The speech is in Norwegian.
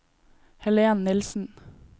Helen Nilssen